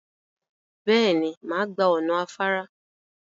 Bẹ́ẹ̀ ni, màá gba ọ̀nà afára.